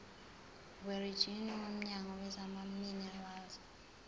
werijini womnyango wezamaminerali